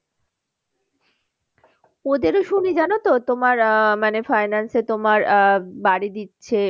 ওদেরও শুনি জানো তো তোমার আহ মানে finance এ তোমার আহ বাড়ি দিচ্ছে।